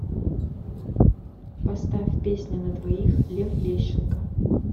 поставь песня на двоих лев лещенко